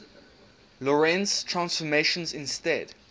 lorentz transformations instead